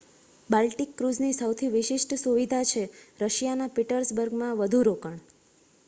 Baltic ક્રૂઝની સૌથી વિશિષ્ટ સુવિધા છે રશિયાના પીટર્સબર્ગમાં વધુ રોકાણ